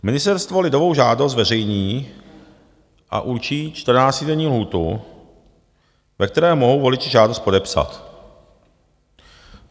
Ministerstvo lidovou žádost zveřejní a určí čtrnáctidenní lhůtu, ve které mohou voliči žádost podepsat.